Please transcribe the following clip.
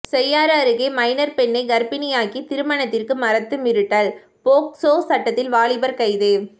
செய்யாறு அருகே மைனர் பெண்ணை கர்ப்பிணியாக்கி திருமணத்திற்கு மறுத்து மிரட்டல் போக்சோ சட்டத்தில் வாலிபர் கைது